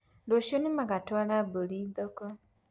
Rũciũ nĩmagatũara mburi thoko.